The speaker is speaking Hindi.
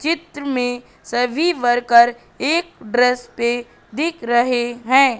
चित्र में सभी वर्कर एक ड्रेस पे दिख रहे हैं।